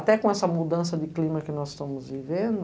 Até com essa mudança de clima que nós estamos vivendo.